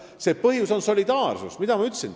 See põhjus on solidaarsus, nagu ma teile ka ütlesin.